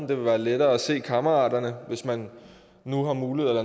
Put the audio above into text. vil være lettere at se kammeraterne når man nu har mulighed